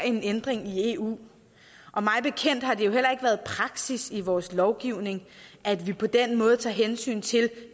en ændring i eu mig bekendt har det heller ikke været praksis i vores lovgivning at vi på den måde tager hensyn til